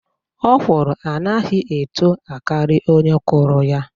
Okwụrụ anaghị etoo akari onye kuru ya.